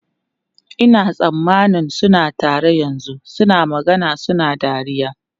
Ina tsammanin suna tare yanzu, suna magana suna dariya.